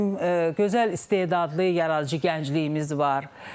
Bizim gözəl istedadlı yaradıcı gəncliyimiz var.